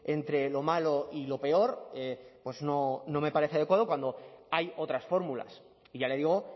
entre lo malo y lo peor pues no no me parece adecuado cuando hay otras fórmulas y ya le digo